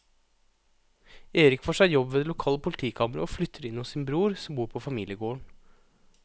Erik får seg jobb ved det lokale politikammeret og flytter inn hos sin bror som bor på familiegården.